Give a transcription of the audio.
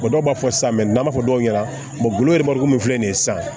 dɔw b'a fɔ sisan n'an b'a fɔ dɔw ɲɛna min filɛ nin ye sisan